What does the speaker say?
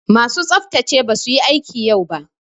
Masu tsaftsace basu yi aiki yau ba.